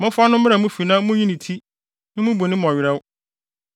Momfa no mmra mo fi na munyi ne ti, mmubu ne werɛw,